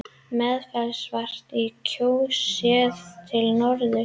Meðalfellsvatn í Kjós, séð til norðurs.